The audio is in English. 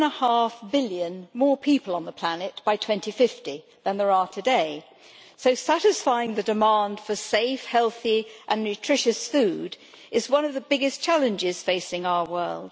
2.5 billion more people on the planet by 2050 than there are today, so satisfying the demand for safe, healthy and nutritious food is one of the biggest challenges facing our world.